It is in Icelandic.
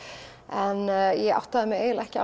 en ég áttaði mig eiginlega ekki